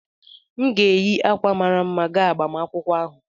M ga-eyi akwa mara mma gaa agbamakwụkwọ ahụ